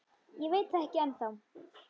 Ég veit það ekki ennþá.